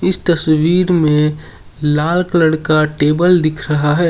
इस तस्वीर में लाल कलर का टेबल दिख रहा है।